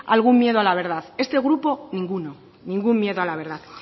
algún miedo a la verdad este grupo ninguno ningún miedo a la verdad